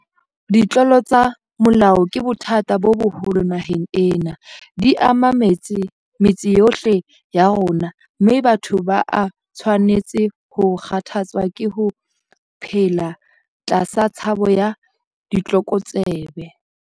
Ditlolo tsa molao ke bothata bo boholo naheng ena. Di ama metse yohle ya rona, mme batho ba a tshwanetse ho kgathatswa ke ho phela tlasa tshabo ya ditlokotsebe.